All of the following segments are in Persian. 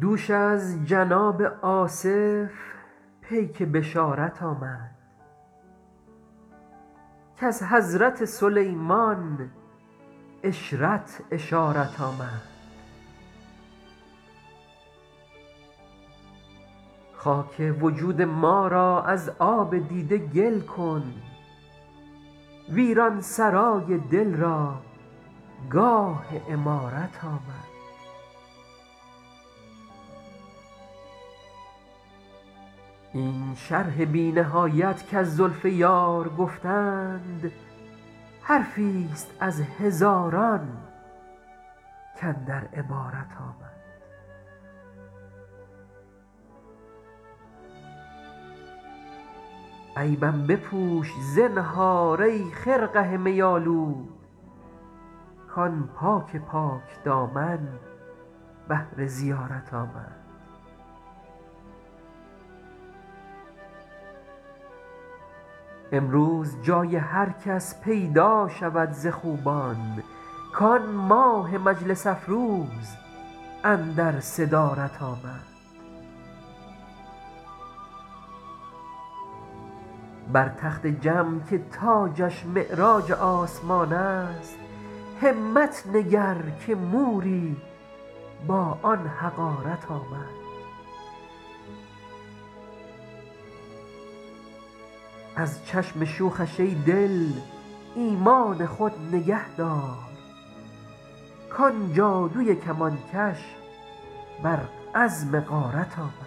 دوش از جناب آصف پیک بشارت آمد کز حضرت سلیمان عشرت اشارت آمد خاک وجود ما را از آب دیده گل کن ویران سرای دل را گاه عمارت آمد این شرح بی نهایت کز زلف یار گفتند حرفی ست از هزاران کاندر عبارت آمد عیبم بپوش زنهار ای خرقه می آلود کآن پاک پاک دامن بهر زیارت آمد امروز جای هر کس پیدا شود ز خوبان کآن ماه مجلس افروز اندر صدارت آمد بر تخت جم که تاجش معراج آسمان است همت نگر که موری با آن حقارت آمد از چشم شوخش ای دل ایمان خود نگه دار کآن جادوی کمانکش بر عزم غارت آمد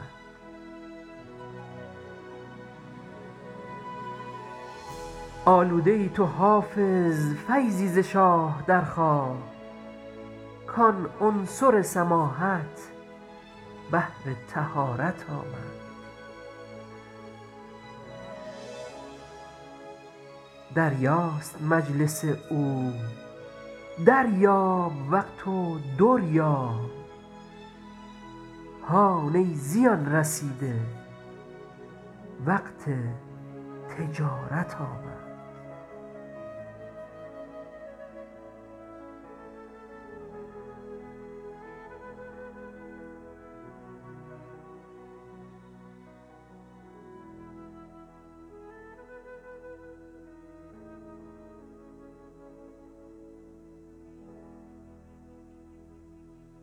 آلوده ای تو حافظ فیضی ز شاه درخواه کآن عنصر سماحت بهر طهارت آمد دریاست مجلس او دریاب وقت و در یاب هان ای زیان رسیده وقت تجارت آمد